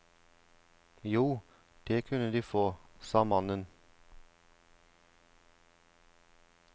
Jo, det kunne de få, sa mannen.